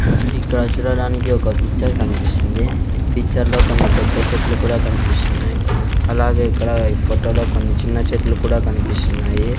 ఇక్కడ చూడడానికి ఒక పిక్చర్ కన్పిస్తుంది . ఈ పిక్చర్ లో కొన్ని పెద్ద చెట్లు కూడా కన్పిస్తున్నాయి అలాగే ఇక్కడ ఈ ఫోటో లో చిన్న చెట్లు కూడా కన్పిస్తున్నాయి .